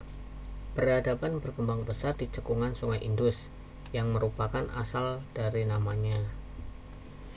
peradaban berkembang pesat di cekungan sungai indus yang merupakan asal dari namanya